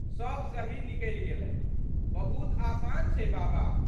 सब सही निकलि गेलै। बहुत आसान छै बाबा।